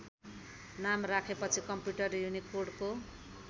नाम राखे पछि कम्पुटर युनिकोडको